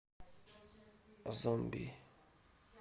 зомби